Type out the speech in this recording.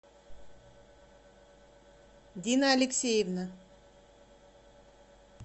дина алексеевна